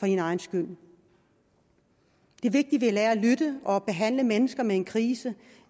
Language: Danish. din egen skyld det er vigtigt vi lærer at lytte og behandle mennesker med en krise